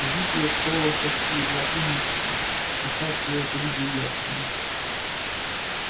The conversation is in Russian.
жить ей оставалось от силы два-три месяца сейчас я это видел ясно